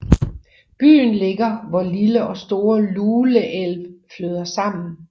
Byen ligger hvor Lille og Store Lule älv flyder sammen